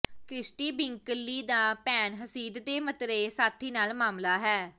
Christie Brinkley ਦਾ ਭੈਣ ਹਸੀਦ ਦੇ ਮਤਰੇਏ ਸਾਥੀ ਨਾਲ ਮਾਮਲਾ ਹੈ